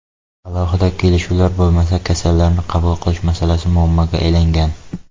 Alohida kelishuvlar bo‘lmasa, kasallarni qabul qilish masalasi muammoga aylangan.